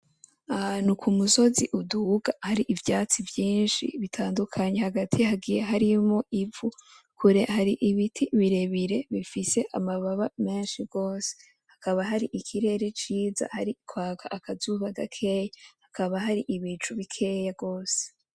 Ahantu ku musozi uduga hari ivyatsi vyinshi bitandukanye hagati hagiye harimwo ivu kure hari ibiti birebire bifise amababa menshi gose hakaba hari ikirere ciza hari kwaka akazuba gakeyi hakaba hari ibicu bikeya gose.